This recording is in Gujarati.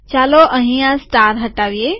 ચાલો અહીં આ સ્ટાર હટાવીએ